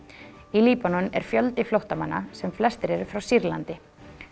í Líbanon er fjöldi flóttamanna sem flestir eru frá Sýrlandi